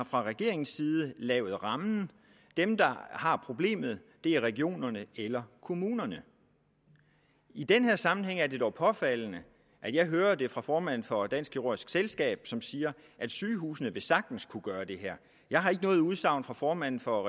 fra regeringens side har lavet rammen dem der har problemet er regionerne eller kommunerne i den her sammenhæng er det jo påfaldende at jeg hører det fra formanden for dansk kirurgisk selskab som siger at sygehusene sagtens vil kunne gøre det her jeg har ikke noget udsagn fra formanden for